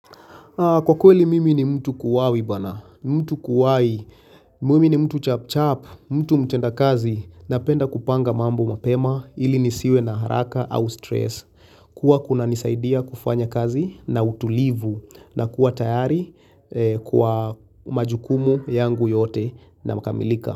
Kwa kweli mimi ni mtu kuwai bana, mtu kuwai, mimi ni mtu chap chap, mtu mtenda kazi napenda kupanga mambo mapema ili nisiwe na haraka au stress. Huwa kunanisaidia kufanya kazi na utulivu na kuwa tayari kwa majukumu yangu yote yanakamilika.